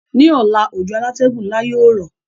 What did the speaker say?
Ní ọ̀la, òjò alátẹ́gùn nla yio rọ̀